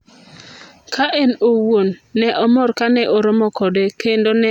"Ka en owuon ""ne omor ka ne oromo kode kendo ne en gi pi wang' kendo ne omuke,"" nowacho niya."